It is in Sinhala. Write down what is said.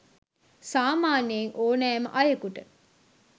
සාමාන්‍යයෙන් ඕනෑම අයකුට